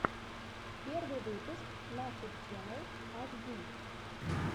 первый выпуск нашид ченнал аш ди